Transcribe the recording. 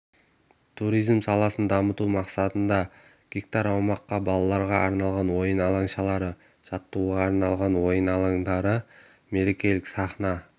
туризм саласын дамыту мақсатында га аумаққа балаларға арналған ойын алаңшалары жаттығуға арналған ойын алаңдары мерекелік сахна